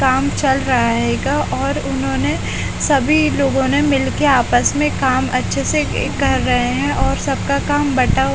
काम चल रहा और उन्होंने सभी लोगों ने मिलके आपस में काम अच्छे से ये कर रहे हैं और सबका काम बटा--